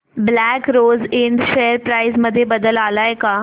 black Rose Ind share price मध्ये बदल आलाय का